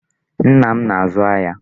Nna m na-azụ ahịa.